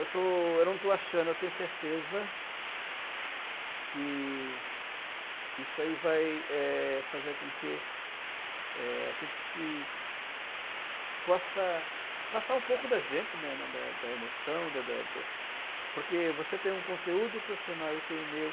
Eu estou, eu não estou achando, eu tenho certeza que isso aí vai, eh, fazer com que, eh, a gente se possa passar um pouco da gente, né, né, da da emoção, da da da... porque você tem um conteúdo profissional, eu tenho o meu.